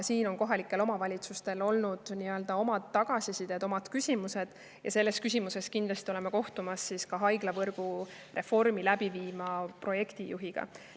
Kohalikel omavalitsustel aga on selle kohta omad tagasisided, omad küsimused ja seepärast me kindlasti kohtume ka haiglavõrgureformi läbi viiva projektijuhiga.